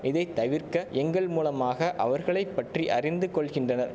இதை தவிர்க்க எங்கள் மூலமாக அவர்களை பற்றி அறிந்து கொள்கின்றனர்